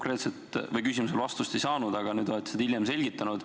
Ma oma küsimusele vastust ei saanud, aga nüüd te olete seda hiljem selgitanud.